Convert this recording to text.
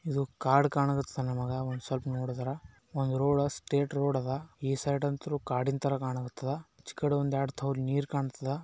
ಇದು ಕಾಡ್ ಕಾಣಗತ್ತದ ನಮಗ ಒಂದ್ ಸ್ವಲ್ಪ್ ನೋಡುದ್ರಾ ಒಂದ್ ರೋಡ ಸ್ಟ್ರೆಟ ರೋಡ್ ಅದ ಈ ಸೈಡ್ ಅಂತೂರು ಕಾಡಿನ್ ತರ ಕಾಣಕ್ಕತ್ತದ ಈ ಕಡಿ ಒಂದ್ ಎರಡ್ ತೊಲಿ ನೀರ್ ಕಾಣ್ತಾದ.